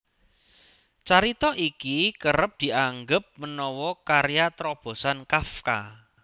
Carita iki kerep dianggep menawa karya trobosan Kafka